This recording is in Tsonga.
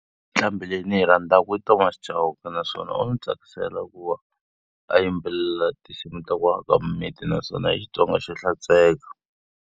Nqambhi leyi ndzi yi rhandzaka i Thomas Chauke, naswona u ndzi tsakisela ku va a yimbelela tinsimu ta ku aka miminti naswona hi Xitsonga xo hlantsweka.